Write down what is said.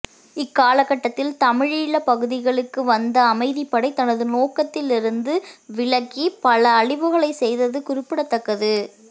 இக்காலகட்டத்தில் தமிழீழப்பகுதிகளுக்கு வந்ந அமைதிப்படை தனது நோக்கத்திலிருந்து விலத்தி பல அழிவுகளைச் செய்தது குறிப்பிடத்தக்கது